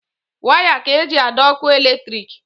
Waya ka eji adọ ọkụ eletrik.